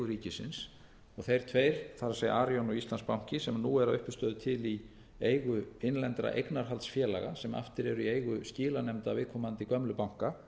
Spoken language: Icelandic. ríkisins þeir tveir það er arion og íslandsbanki sem nú eru að uppistöðu til í eigu innlendra eignarhaldsfélaga sem aftur eru í eigu skilanefnda viðkomandi gömlu banka